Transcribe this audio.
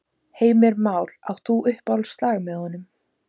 Heimir Már: Átt þú uppáhaldslag með honum?